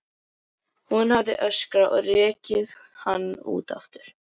Hún hefði öskrað og rekið hann út aftur.